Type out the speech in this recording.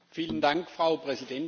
Frau Präsidentin!